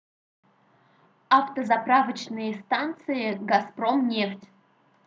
автозаправочные станции газпромнефть